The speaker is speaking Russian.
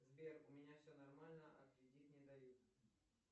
сбер у меня все нормально а кредит не дают